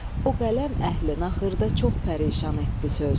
O qələm əhli naxırda çox pərişan etdi söz.